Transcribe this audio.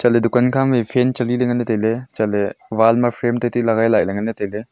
chatley dukan khama e fan cheli ley nganley tailey chatley wall ma frame teteli ley legai laih e nganley tailey.